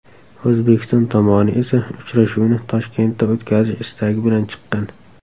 O‘zbekiston tomoni esa uchrashuvni Toshkentda o‘tkazish istagi bilan chiqqan.